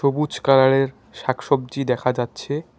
বুজ কালারের শাক সবজি দেখা যাচ্ছে।